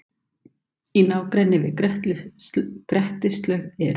Í nágrenni við Grettislaug eru